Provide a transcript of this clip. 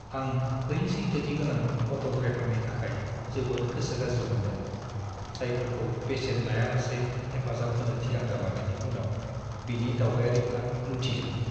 आं बै सैथोथि गोनां अट' ड्राइभारनि थाखाय जोबोद गोसो गाज्रि मोन्दों, जायफोरखौ बेसेन लायालासे हेफाजाब होनो थिरांथा लानायनि उनाव बिनि दावबायारिफ्रा लुथिदोंमोन।